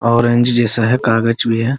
Orange जैसा है कागज भी है ।